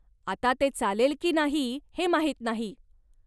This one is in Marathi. आता ते चालेल की नाही हे माहीत नाही.